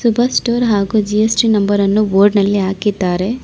Subhash store ಹಾಗು GST number ಅನ್ನು board ನಲ್ಲಿ ಹಾಕಿದ್ದಾರೆ.